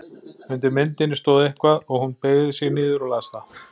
Undir myndinni stóð eitthvað og hún beygði sig niður og las það.